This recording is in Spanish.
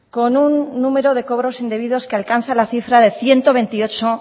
con un número de cobros indebidos que alcanza la cifra de ciento veintiocho